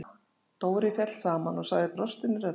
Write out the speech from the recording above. Dóri féll saman og sagði brostinni röddu